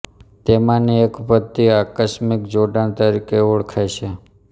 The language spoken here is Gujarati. તેમાંની એક પદ્ધતિ આકસ્મિક જોડાણ તરીકે ઓળખાય છે